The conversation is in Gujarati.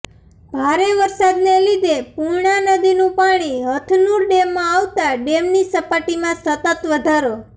ભારે વરસાદને લીધે પુર્ણા નદીનું પાણી હથનુર ડેમમાં આવતા ડેમની સપાટીમાં સતત વધારો